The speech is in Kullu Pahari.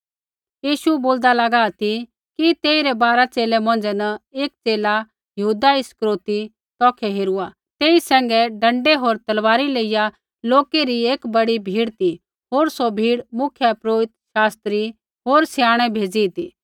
यीशु बोलदा लागा ती कि तेइरै बारा च़ेले मौंझ़ै न एक च़ेला यहूदा इस्करियोती तौखै हेरूआ तेई सैंघै डँडै होर तलवारी लेइया लोकै री एक बड़ी भीड़ ती होर सौ भीड़ मुख्यपुरोहिता शास्त्री होर स्याणै भेज़ी ती